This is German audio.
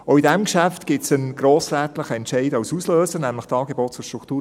Auch zu diesem Geschäft gibt es einen grossrätlichen Entscheid als Auslöser, nämlich die ASP 14;